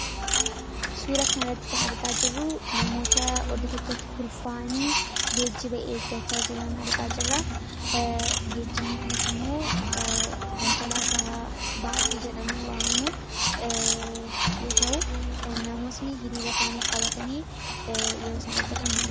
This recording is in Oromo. Suura kana irratti kan argaa jirruu namoota oddo tokkotti kurfa'aanii geejjiba eeggachaa jiran argaa jirra. Geejjibni kunis immoo konkolaata ''baasii'' jedhame waamamu yoo ta'u namootni hiriira isaanii qabatanii yeroo san eeggatan mul'isa.